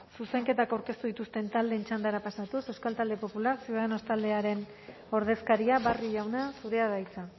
zuzenketak aurkeztu dituzten taldeen txandara pasatuz euskal talde popular ciudadanos taldearen ordezkaria barrio jauna zurea da hitza